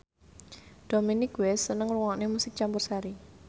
Dominic West seneng ngrungokne musik campursari